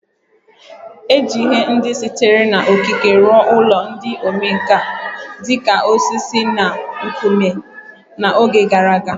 E ji ihe ndị sitere na okike rụọ ụlọ ndị omenkà, dị ka osisi na nkume, na oge gara aga